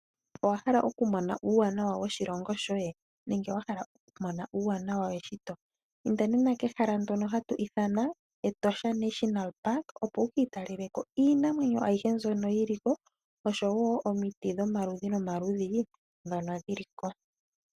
Owa hala okumona uuwanawa woshilongo shoye? nenge wa hala okumona uuwanawa weshito? Inda nena kehala ndono hatu ithana Etosha National Park opo wu kiitalele ko iinamwenyo ayihe mbyono yi li ko oshowo omiti dhomaludhi nomaludhi ndhono dhi li ko.